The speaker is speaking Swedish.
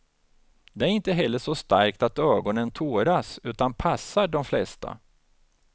Det är inte heller så starkt att ögonen tåras, utan passar de flesta.